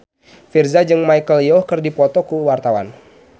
Virzha jeung Michelle Yeoh keur dipoto ku wartawan